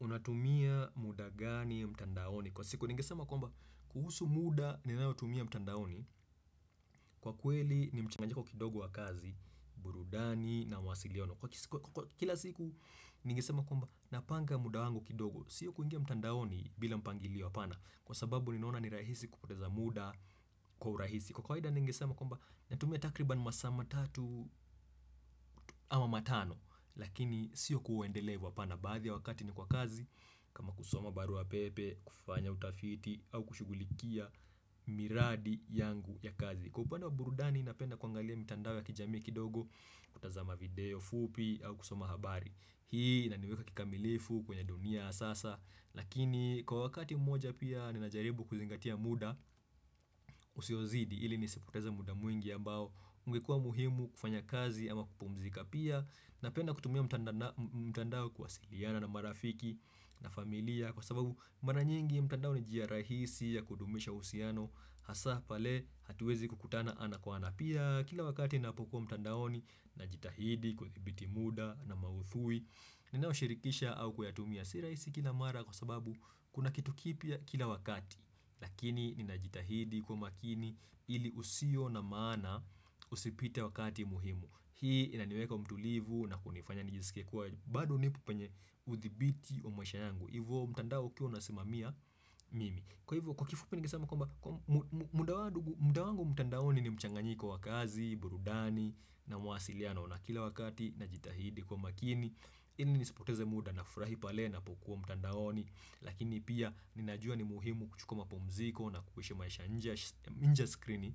Unatumia muda gani mtandaoni Kwa siku ningesema kwamba kuhusu muda ninaotumia mtandaoni Kwa kweli ni mchanganyiko kidogo wa kazi, burudani na mawasiliano. Kwa kila siku ningesema kwamba napanga muda wangu kidogo. Sio kuingia mtandaoni bila mpangilio hapana Kwa sababu ninaona ni rahisi kupoteza muda kwa urahisi Kwa kawaida ningesema kwamba natumia takribani masaa matatu ama matano Lakini sio kuendelea hivo hapana baadhi ya wakati ni kwa kazi, kama kusoma barua pepe, kufanya utafiti, au kushughulikia miradi yangu ya kazi. Kwa upande wa burudani, napenda kuangalia mitandao ya kijamii kidogo, kutazama video fupi, au kusoma habari. Hii, inaniweka kikamilifu kwenye dunia sasa, lakini kwa wakati mmoja pia, ninajaribu kuzingatia muda usiozidi, ili nisipoteze muda mwingi ambao, ungekua muhimu kufanya kazi ama kupumzika pia na penda kutumia mtandao kuwasiliana na marafiki na familia kwa sababu mara nyingi mtandao ni njia rahisi ya kudumisha uhusiano hasa pale hatuwezi kukutana ana kwa ana pia kila wakati ninapokuwa mtandaoni najitahidi kuthibiti muda na mauthui ninaoshirikisha au kuyatumia. Si rahisi kila mara kwa sababu kuna kitu kipya kila wakati lakini ninajitahidi kwa makini ili usio na maana usipite wakati muhimu hii inaniweka mtulivu na kunifanya nijisikie kuwa bado nipo penye uthibiti wa maisha yangu hivo mtandao ukiwa unasimamia mimi kwa hivyo kwa kifupi ningesema kwamba muda wangu mtandaoni ni mchanganyiko wa kazi, burudani na mawasiliano na kila wakati najitahidi kuwa makini ili nisipoteze muda nafurahi pale napokuwa mtandaoni lakini pia ninajua ni muhimu kuchukua mapumziko na kuishi maisha nje ya skrini